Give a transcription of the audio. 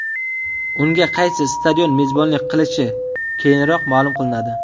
Unga qaysi stadion mezbonlik qilishi keyinroq ma’lum qilinadi.